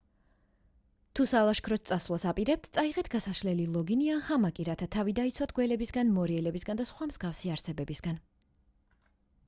თუ სალაშქროდ წასვლას აპირებთ წაიღეთ გასაშლელი ლოგინი ან ჰამაკი რათა თავი დაიცვათ გველებისგან მორიელებისგან და სხვა მსგავსი არსებებისგან